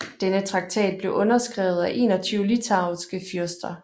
Denne traktat blev underskrevet af 21 litauiske fyrster